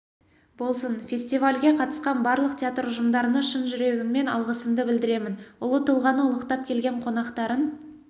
болсын фестивальге қатысқан барлық театр ұжымдарына шын жүрегіммен алғысымды білдіремін ұлы тұлғаны ұлықтап келген қонақтарын